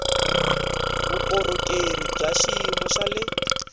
vukorhokeri bya xiyimo xa le